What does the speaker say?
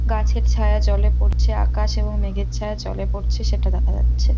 গাছের ছায়া জলে পড়ছে আকাশ এবং মেঘের ছায়া জলে পড়ছে সেটা দেখা যাচ্ছে।